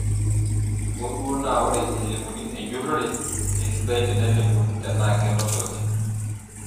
Hoo duo naa ore eimu enjurore keisidai tenelimuni tenaa kenotoki.